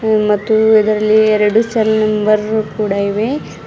ಮತ್ತು ಇದರಲ್ಲಿ ಎರಡು ಸೆಲ್ ನಂಬರ್ ಕೂಡ ಇವೆ.